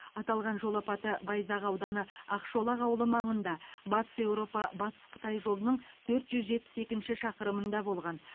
аталған жол апаты байзақ ауданы ақшолақ ауылы маңында батыс еуропа батыс қытай жолының төрт жүз жетпіс екінші шақырымында болған